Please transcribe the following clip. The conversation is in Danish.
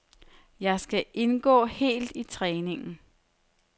Jeg skal indgå helt i træningen.